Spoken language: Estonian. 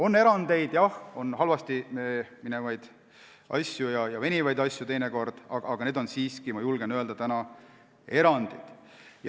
On erandeid, jah, on halvasti edasiliikuvaid asju ja teinekord venivaid asju, aga need on siiski, ma julgen öelda, erandid.